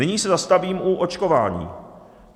Nyní se zastavím u očkování.